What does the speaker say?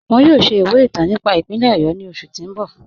Wọn yọ̀ọ̀ ṣẹ̀ ìwẹ̀ ìtàn nípà ìpínlẹ̀ Ọ̀yọ́ ni oṣù ti n bọ̀.